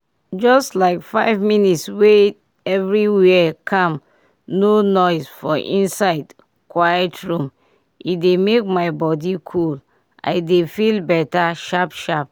just like five minutes wey everywhere calm no noise for inside quiet room — e dey make my body cool i dey feel better sharp-sharp.